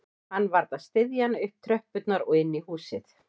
Hann varð að styðja hana upp tröppurnar og inn í húsið